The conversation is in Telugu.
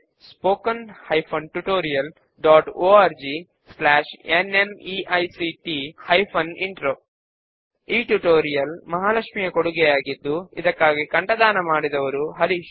ఈ స్క్రిప్ట్ ను ప్రియా సురేష్ దేశీ క్రూ సొల్యూషన్స్ అందించారు మరియు నేను Nikhila Desi crew solutions signing of